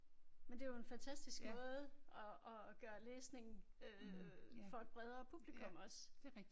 Men det jo en fantastisk måde at at gøre læsning øh for et bedrere publikum også